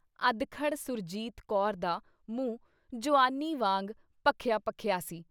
ਅਧਖੜ੍ਹ ਸੁਰਜੀਤ ਕੌਰ ਦਾ ਮੂੰਹ ਜੁਆਨੀ ਵਾਂਗ ਭਖਿਆ-ਭਖਿਆ ਸੀ।